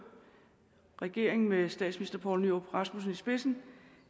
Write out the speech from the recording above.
regeringen med statsminister poul nyrup rasmussen i spidsen